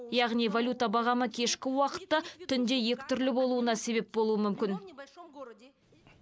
яғни валюта бағамы кешкі уақытта түнде екі түрлі болуына себеп болуы мүмкін